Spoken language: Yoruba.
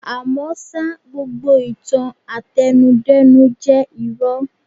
À mọ́ ṣá, gbogbo ìtàn àtẹnu-dẹ́nu jẹ́ irọ́.